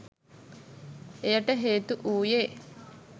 එයට හේතු වූයේ